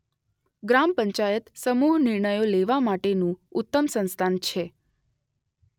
ગ્રામ પંચાયત સમૂહ નિર્ણયો લેવા માટેનું ઉત્તમ સંસ્થાન છે.